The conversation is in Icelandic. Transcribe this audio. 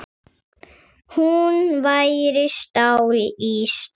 Hún væri stál í stál.